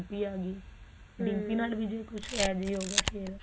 ਵੀ ਆਗੀ dimpy ਨਾਲ ਵੀ ਜੇ ਕੁਝ ਏਹੋਜਿਹਾ ਹੋਗੀਆ ਫ਼ੇਰ